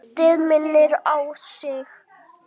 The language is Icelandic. Haustið minnir á sig.